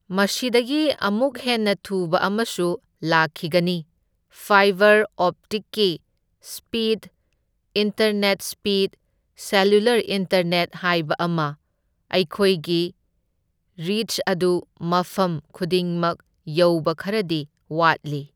ꯃꯁꯤꯗꯒꯤ ꯑꯃꯨꯛ ꯍꯦꯟꯅ ꯊꯨꯕ ꯑꯃꯁꯨ ꯂꯥꯛꯈꯤꯒꯅꯤ, ꯐꯥꯏꯕꯔ ꯑꯣꯞꯇꯤꯛꯀꯤ speed internet speed cellular internet ꯍꯥꯏꯕ ꯃꯈꯣꯏꯒꯤ ꯔꯤꯆ ꯑꯗꯨ ꯃꯐꯝ ꯈꯨꯗꯤꯡꯃꯛ ꯌꯧꯕ ꯈꯔꯗꯤ ꯋꯥꯠꯂꯤ꯫